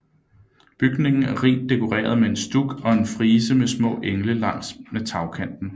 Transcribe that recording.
Bygningen er rigt dekoreret med stuk og en frise med små engle langs med tagkanten